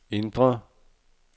indre